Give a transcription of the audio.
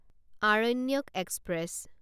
Aranyak express